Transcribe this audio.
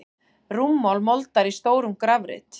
Rúmmál moldar í stórum grafreit.